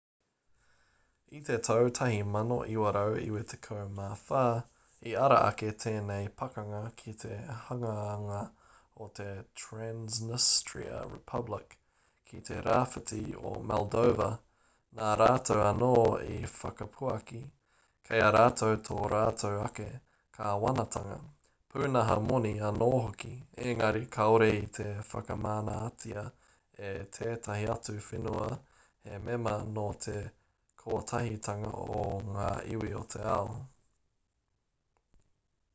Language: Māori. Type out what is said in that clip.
i te tau 1994 i ara ake tēnei pakanga ki te hanganga o te transnistria republic ki te rāwhiti o moldova nā rātou anō i whakapuaki kei a rātou tō rātou ake kāwanatanga pūnaha moni anō hoki engari kāore i te whakamanatia e tētahi atu whenua he mema nō te kotahitanga o ngā iwi o te ao